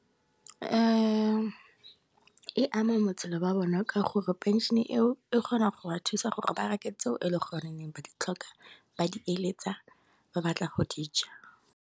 E ama botshelo jwa bona ka gore phenšene eo, e kgona go ba thusa gore ba reke tseo e le gore ba di tlhoka, ba di eletsa ba batla go di ja.